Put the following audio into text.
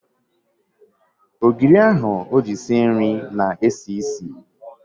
Ogiri ahụ o ji sie nri na-esi isi.